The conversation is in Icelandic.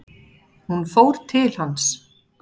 Hún fór til hans.